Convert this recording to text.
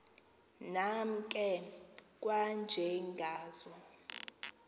nam ke kwanjengazo